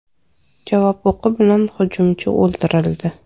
Javob o‘qi bilan hujumchi o‘ldirildi.